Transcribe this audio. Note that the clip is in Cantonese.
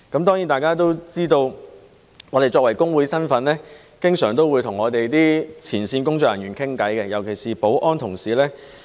當然，大家都知道，我們作為工會人員，經常會與我們的前線工作人員交談，尤其是保安同事。